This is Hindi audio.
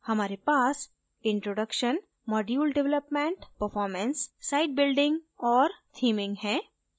हमारे पास introduction module development performance site building और theming है